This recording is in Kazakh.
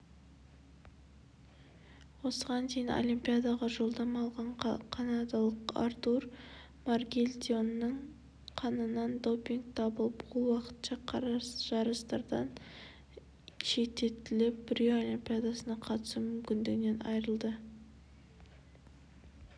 осыған дейін олимпиадаға жолдама алған канадалық артур маргелдионның қанынан допинг табылып ол уақытша жарыстардан шеттетіліп рио олимпиадасына қатысу мүмкіндігінен айырылды